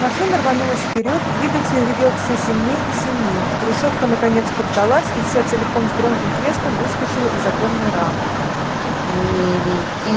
машина рванулась вперёд двигатель ревел всё сильней и сильней решётка наконец поддалась и вся целиком с громким треском выскочила из оконной рамы